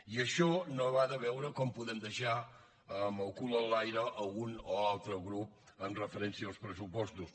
i això no va de veure com podem deixar amb el cul enlaire un o altre grup amb referència als pressupostos